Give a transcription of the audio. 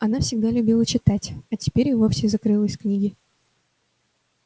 она всегда любила читать а теперь и вовсе закрылась в книги